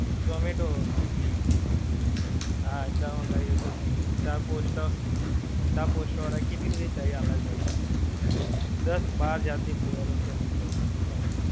ઝોમેટો, સ્વીગી. હા ચા મંગાવી હોય તો ભી. ચા કોસ્ટા, ચા કોસ્ટા વાળાં કેટલી બધી ચાઈ આલે છે. દસ બાર જાત ની flavour ઓ છે એમની જોડે.